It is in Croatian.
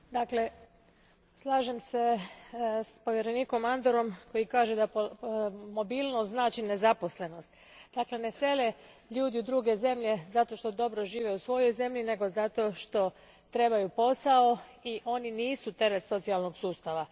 Gospodine predsjedavajući, slažem se s povjerenikom Andorom koji kaže da mobilnost znači nezaposlenost. Dakle, ne sele ljudi u druge zemlje zato što dobro žive u svojoj zemlji nego zato što trebaju posao i oni nisu teret socijalnog sustava.